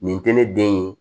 Nin tɛ ne den ye